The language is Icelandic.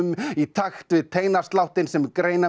í takt við teinasláttinn sem